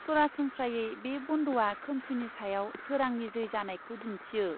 सरासनस्रायै बे बन्दआ खोमसिनि सायाव सोरांनि जै जानायखौ दिन्थियो।